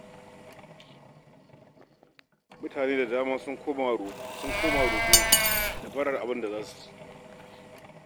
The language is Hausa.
Mutane da dama sun koma roƙo da barar abin da za su ci